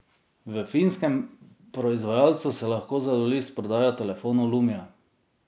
V finskem proizvajalcu so lahko zadovolji s prodajo telefonov lumia.